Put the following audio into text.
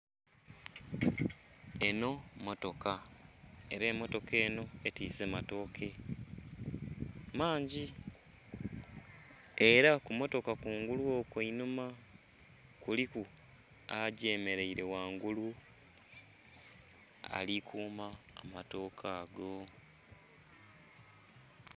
Enho motoka era emotoka enho betwise matoke mangi era ku motoka kungulu okwo einhuma kuliku agye mereire ghangulu ali kuuma amatoke ago.